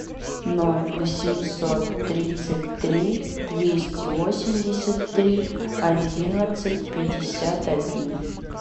ноль восемьсот тридцать три двести восемьдесят три одиннадцать пятьдесят один